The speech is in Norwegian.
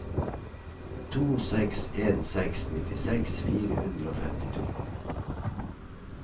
to seks en seks nittiseks fire hundre og femtito